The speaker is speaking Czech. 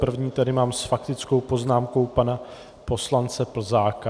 První tady mám s faktickou poznámkou pana poslance Plzáka.